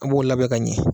A b'o labɛn ka ɲɛ